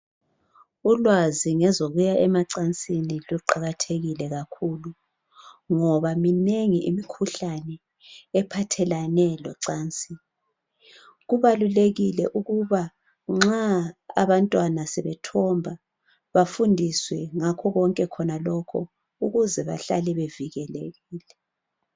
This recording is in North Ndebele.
Ulwazi ngezokuya emacansini luqakathekile kakhulu ngoba minengi imikhuhlane ephathelene locansi , kubalulekile ukuthi nxa abantwana sebeyithomba bafundiswe ngakho konke khona lokhu ukuze behlale bevikelekile.